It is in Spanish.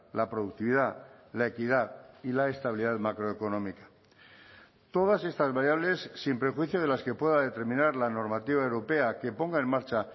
la productividad la equidad y la estabilidad macroeconómica todas estas variables sin prejuicio de las que pueda determinar la normativa europea que ponga en marcha